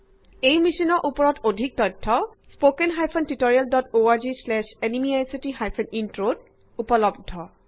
এই মিচন বিষয়ক অধিক information spoken hyphen tutorial dot O R G slash N M E I C T hyphen ইন্ট্ৰত উপলব্ধ